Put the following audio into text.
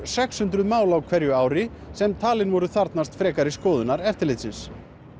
sex hundruð mál á hverju ári sem talin voru þarfnast skoðunar eftirlitsins